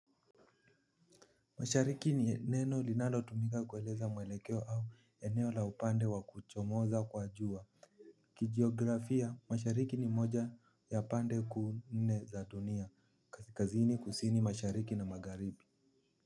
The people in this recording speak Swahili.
Mashariki ni neno linalotumika kueleza mwelekeo au eneo la upande wa kuchomoza kwa jua. Kijiografia, mashariki ni moja ya pande kuu nne za dunia. Kaskazini kusini mashariki na magharibi.